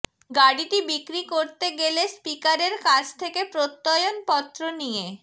গাড়িটি বিক্রি করতে গেলে স্পিকারের কাছ থেকে প্রত্যয়নপত্র নিয়ে